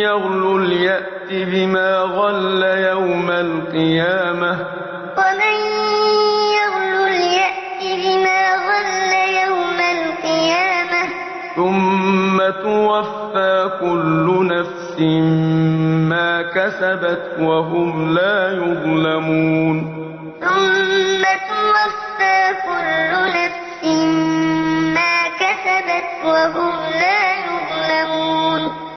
يَغْلُلْ يَأْتِ بِمَا غَلَّ يَوْمَ الْقِيَامَةِ ۚ ثُمَّ تُوَفَّىٰ كُلُّ نَفْسٍ مَّا كَسَبَتْ وَهُمْ لَا يُظْلَمُونَ وَمَا كَانَ لِنَبِيٍّ أَن يَغُلَّ ۚ وَمَن يَغْلُلْ يَأْتِ بِمَا غَلَّ يَوْمَ الْقِيَامَةِ ۚ ثُمَّ تُوَفَّىٰ كُلُّ نَفْسٍ مَّا كَسَبَتْ وَهُمْ لَا يُظْلَمُونَ